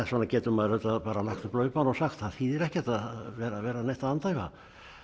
svona getur maður auðvitað lagt upp laupana og sagt það þýðir ekkert að vera að vera neitt að andæfa